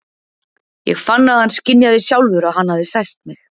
Ég fann að hann skynjaði sjálfur að hann hafði sært mig.